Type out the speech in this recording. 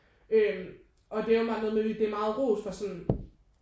Øh og det er åbenbart noget med det er meget ros for sådan